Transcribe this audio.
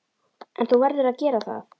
En þú verður að gera það!